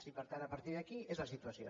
i per tant a partir d’aquí és la situació